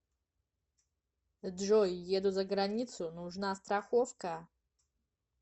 джой еду за границу нужна страховка